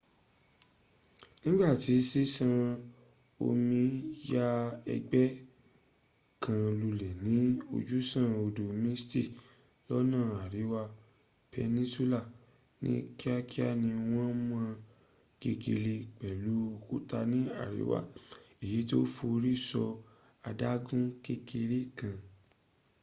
nigbati sisan omi ya egbe kan lule ni ojusan odo mystic lona ariwa peninsula, ni kiakia ni won mo gegele pelu okuta ni ariwa eyiti o fori so adagun kekere kan